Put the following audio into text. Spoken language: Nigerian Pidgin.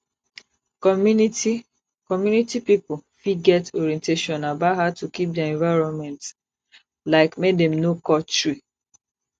community community pipo fit get orientation about how to keep their environment like make dem no cut tree